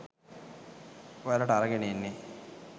ඔයාලට අරගෙන එන්නෙ